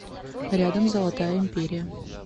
рядом золотая империя